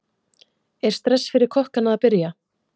Er stress fyrir kokkana að byrja?